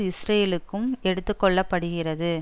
இஸ்ரேலுக்கும் எடுத்து கொள்ள படுகிறது